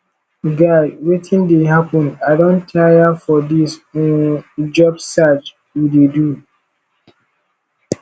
guy wetin dey happen i don tire for dis um job search we dey do